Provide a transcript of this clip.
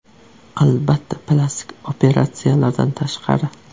Albatta, plastik operatsiyalardan tashqari.